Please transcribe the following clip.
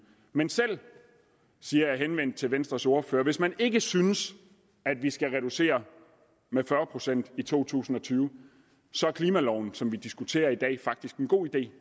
men selv siger jeg henvendt til venstres ordfører hvis man ikke synes at vi skal reducere med fyrre procent i to tusind og tyve så er klimaloven som vi diskuterer i dag faktisk en god idé